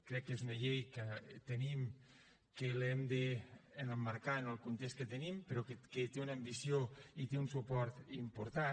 crec que és una llei que tenim que l’hem d’emmarcar en el context que tenim però que té una ambició i té un suport important